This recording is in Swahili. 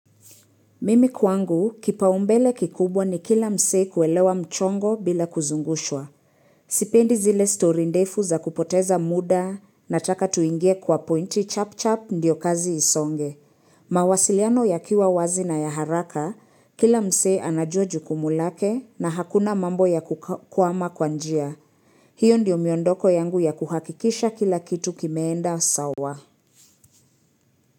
Mimi kwangu, kipaumbele kikubwa ni kila msee kuelewa mchongo bila kuzungushwa. Sipendi zile story ndefu za kupoteza muda na taka tuingie kwa pointi chap chap ndiyo kazi isonge. Mawasiliano ya kiwa wazi na ya haraka, kila msee anajua jukumu lake na hakuna mambo ya kukwama kwanjia. Hiyo ndiyo miondoko yangu ya kuhakikisha kila kitu kimeenda sawa.